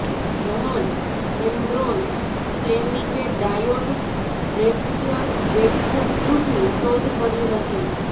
John Ambrose ફ્લેમિંગે diode rectifier vacuum ટ્યુબની શોધ કરી હતી